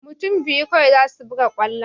Mutun biyu kawai zasu buga kwallo